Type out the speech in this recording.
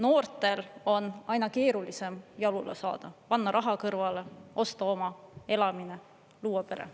Noortel on aina keerulisem jalule saada, panna raha kõrvale, osta oma elamine, luua pere.